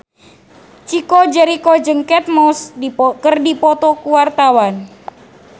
Chico Jericho jeung Kate Moss keur dipoto ku wartawan